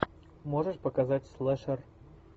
можешь показать слэшер